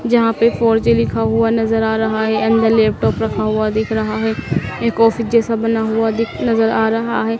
जहां पे four G लिखा हुआ नजर आ रहा है एंड लैपटॉप रखा हुआ दिख रहा है एक ऑफिस जैसा बना हुआ दिख नजर आ रहा है।